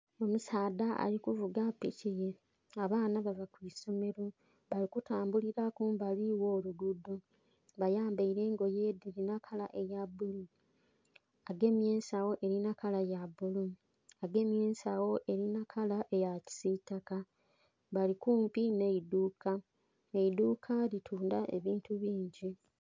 Omusaadha ali kuvuga piki ye abaana bava ku isomeelo, abali kutambulila kumbali gholuguudho. Bayambaile engoye dhilinha kala eyabulu. Agemye ensogho elinha kala ya ya bulu, agemye ensgho elinha kala eya kisiitaka, bali kumpi nh'eidhuuka eidhuuka litundha ebintu bingi.